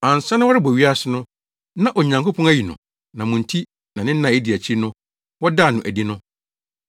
Ansa na wɔrebɔ wiase no, na Onyankopɔn ayi no na mo nti na nna a edi akyiri no wɔdaa no adi no.